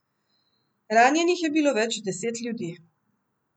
Ranjenih je bilo več deset ljudi.